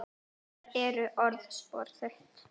Þær eru orðspor þitt.